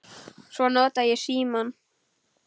Svo nota ég símann.